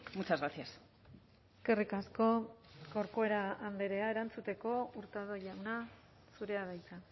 muchas gracias eskerrik asko corcuera andrea erantzuteko hurtado jauna zurea da hitza